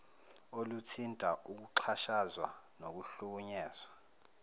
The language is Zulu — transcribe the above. oluthinta ukuxhashazwa nokuhlukunyezwa